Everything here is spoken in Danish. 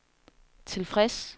tilfreds